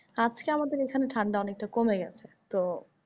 আজকে আমাদের এখানে ঠান্ডা অনেকটা কমে গেছে তো।